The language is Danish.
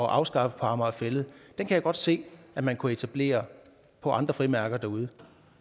afskaffe på amager fælled kan jeg godt se at man kunne etablere på andre frimærker derude